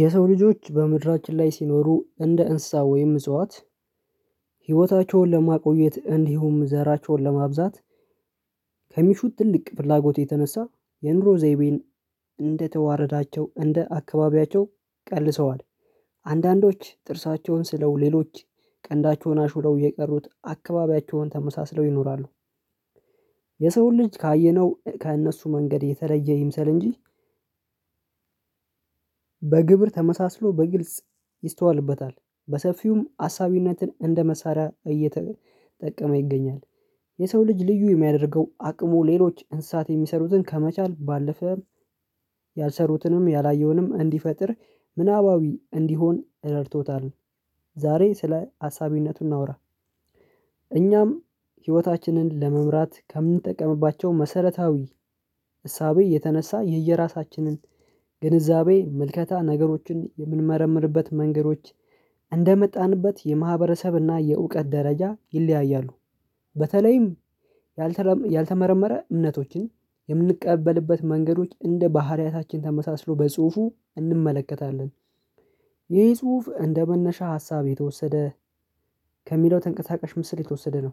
የሰው ልጆች በምድራችን ላይ ሲኖሩ እንደ እንስሳ ወይም እጽዋት ህይወታቸውን ለማቆየት እንዲሁም ዘራቸውን ለማብዛት ከሚሹት ትልቅ ፍላጎት የተነሳ የኑሮ ዘይቤን እንደተዋረዳቸው እንደ አካባቢያቸው ቀልሰዋል አንዳንዶች ጥርሳቸውን ስለው ሌሎች ቀንዳቸውን አሹለው የቀሩት አካባቢያቸውን ተመሳስለው ይኖራሉ። የሰውን ልጅ ካየነው ከእነሱ መንገድ የተለየ ይምሰል እንጂ በግብር ተመሳስሎ በግልጽ ይስተዋልበታል በሰፊውም አሳቢነትን እንደመሳሪያ እየተጠቀመ ይገኛል። የሰው ልጅ ልዩ የሚያደርገው አቅሙ ሌሎች እንሳት የሚሰሩትን ከመቻል ባለፈ ያልሰሩትንም ያላየውንም እንዲፈጥር ምናባዊ እንዲሆን እረድቶታል። ዛሬ ስለ አሳቢነቱ እናውራ። እኛም ህይወታችንን ለመምራት ከምንጠቀምባቸው መሰረታዊ እሳቤ የተነሳ የየራሳችንን ግንዛቤ ምልከታ ነገሮችን የምንመረምርበት መንገዶች እንደመጣንበት የማህበረሰብና የእውቀት ደረጃ ይለያያሉ። በተለይም ያልተመረመረ እምነቶችን የምንቀበልበት መንገዶች እንደ ባህሪያታችን ተመሳስሎ በጽሁፉ እንመለከታለን። ይህ ጽሁፍ እንደ መነሻ ሀሳብ የተወሰደ ከሚለው ተንቀሳቀሽ ምስል የተወሰደ ነው።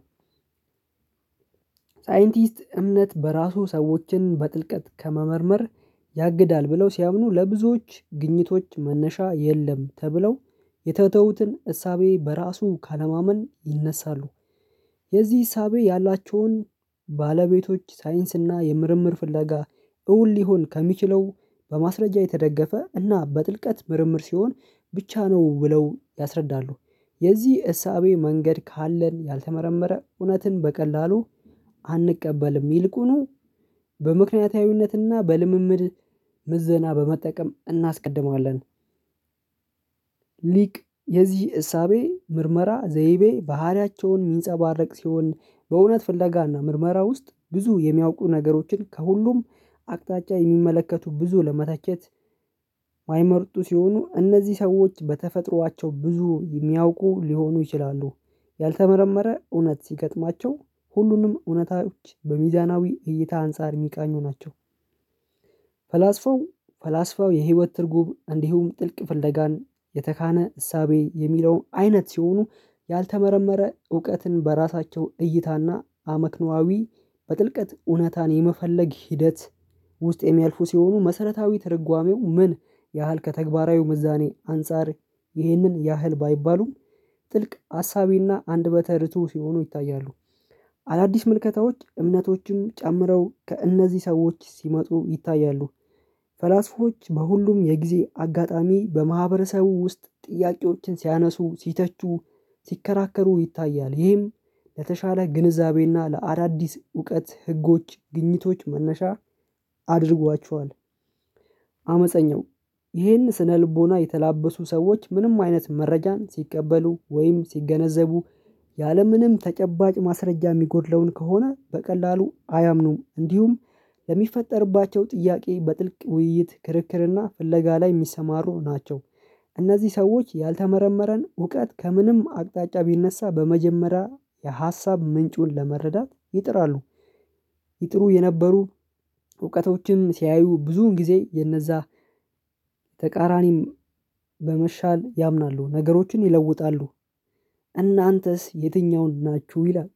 ሳይንቲስት እምነት በራሱ ሰዎችን በጥልቀት ከመመርመር ያግዳል ብለው ሲያምኑ ለብዙዎች ግኝቶች መነሻ የለም ተብለው የተተውትን እሳቤ በራሱ ካለማመን ይነሳሉ። የዚህ ዕሳቤ ያላቸውን ባለቤቶች ሳይንስና የምርምር ፍለጋ እውን ሊሆን ከሚችለው በማስረጃ የተደገፈ እና በጥልቀት ምርምር ሲሆን ብቻ ነው ብለው ያስረዳሉ። የዚህ እሳቤ መንገድ ካለን ያልተመረመረ እውነትን በቀላሉ አንቀበልም ይልቁኑ በምክንያታዊነትና በልምምድ ምዘና በመጠቀም እናስቀድማለን። ሊቅ የዚህ እሳቤ ምርመራ ዘይቤ ባህሪያቸውን የሚንጸባረቅ ሲሆን በእውነት ፍለጋና ምርመራ ውስጥ ብዙ የሚያውቁ ነገሮችን ከሁሉም አቅጣጫ የሚመለከቱ ብዙ ለመተቸት። የማይመርጡ ሲሆኑ እነዚህ ሰዎች በተፈጥሯቸው ብዙ የሚያውቁ ሊሆኑ ይችላሉ። ያልተመረመረ እውነት ሲገጥማቸው ሁሉንም እውነታዎች በሚዛናዊ እይታ አንፃር የሚቃኙ ናቸው። ፈላስፋው ፈላስፋው የህይወት ትርጉም እንዲሁም ጥልቅ ፍለጋን የተካነ እሳቤ የሚለው አይነት ሲሆኑ ያልተመረመረ እውቀትን በራሳቸው እይታና አመክኖአዊ በጥልቀት እውነታን የመፈለግ ሂደት ውስጥ የሚያልፉ ሲሆኑ መሰረታዊ ትርጓሜው ምን ያህል ከተግባራዊው ምዛኔ አንፃር ይህንን ያህል ባይባሉም ጥልቅ አሳቢና አንደበተ ርዕቱ ሲሆኑ ይታያሉ። አዳዲስ ምልከታዎች እምነቶችንም ጨምረው ከእነዚህ ሰዎች ሲመጡ ይታያሉ። ፈላስፎች በሁሉም የጊዜ አጋጣሚ በማህበረሰቡ ውስጥ ጥያቄዎችን ሲያነሱ ሲተቹ ሲከራከሩ ይታያል። ይህም ለተሻለ ግንዛቤና ለአዳዲስ እውቀት ህጎች ግኝቶች መነሻ አድርጓቸዋል። አመፀኛው ይህን ስነልቦና የተላበሱ ሰዎች ምንም አይነት መረጃን ሲቀበሉ ወይም ሲገነዘቡ ያለምንም ተጨባጭ ማስረጃ የሚጎድለውን ከሆነ በቀላሉ አያምኑም እንዲሁም ለሚፈጠርባቸው ጥያቄ በጥልቅ ውይይት ክርክርና ፍለጋ ላይ የሚሰማሩ ናቸው። እነዚህ ሰዎች ያልተመረመረን እውቀት ከምንም አቅጣጫ ቢነሳ በመጀመሪያ የሀሳብ ምንጩን ለመረዳት ይጥራሉ። ይጥሩ የነበሩ እውቀቶችም ሲያዩ ብዙን ጊዜ የነዛ ተቃራኒም በመሻል ያምናሉ ነገሮችን ይለውጣሉ። እናንተስ የትኛውን ናችሁ ይላል?